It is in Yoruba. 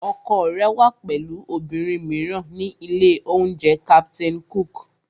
Ọkọ rẹ wà pẹ̀lú obìnrin mìíràn ní ilé-oúnjẹ Captain Cook